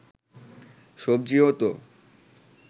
সবজিও তো